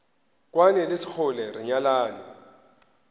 kwane le sekgole re nyalane